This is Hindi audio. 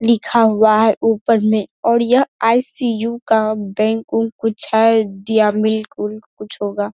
लिखा हुआ है ऊपर मे और यह आई.सी.यू. का बैंक उंक कुछ है दिया मिल्क उल्क कुछ होगा।